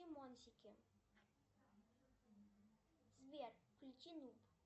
сбер включи нуб